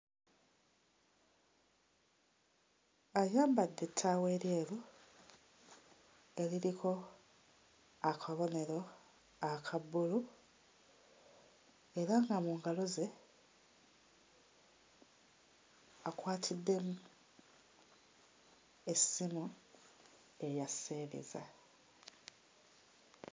Ayambadde ettaawo eryeru eririko akabonero aka bbulu era nga mu ngalo ze akwatiddemu essimu eya sseereza.